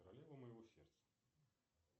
королева моего сердца